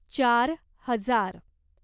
चार हजार